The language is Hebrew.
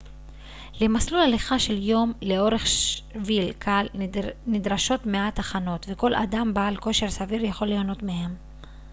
למסלול הליכה של יום לאורך שביל קל נדרשות מעט הכנות וכל אדם בעל כושר סביר יכול ליהנות מהם